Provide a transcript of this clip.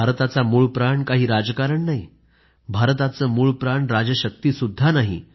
भारताचा मूळप्राण काही राजकारण नाही भारताचे मूळप्राण राजशक्तीसुद्धा नाही